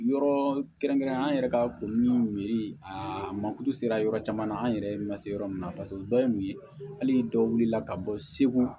Yɔrɔ kɛrɛnkɛrɛnnenya an yɛrɛ ka ko min a makutu sera yɔrɔ caman na an yɛrɛ ma se yɔrɔ min na paseke o dɔ ye mun ye hali dɔw wulila ka bɔ segu